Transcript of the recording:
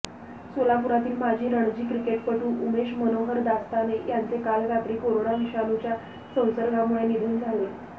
सोलापुरातील माजी रणजी क्रिकेटपटू उमेश मनोहर दास्ताने यांचे काल रात्री कोरोना विषाणूच्या संसर्गामुळे निधन झाले